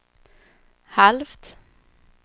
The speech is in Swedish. halvt